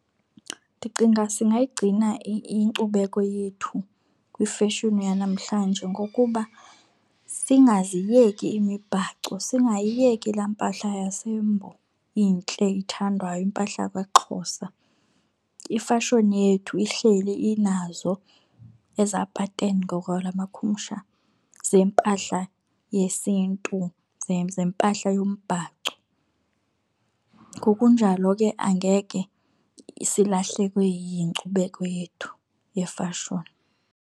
Ndicinga singayigcina inkcubeko yethu kwifeshini yanamhlanje nggokuba singaziyeki imibhaco, singayiyeki laa mpahla yaseMbo intle ithandwayo, impahla yakwaXhosa. Ifashoni yethu ihleli inazo eza pateni ngokwelamakhumsha zempahla yesiNtu zempahla yombhaco. Ngokunjalo ke angeke silahlekwe yinkcubeko yethu yefashoni.